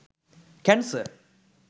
cancer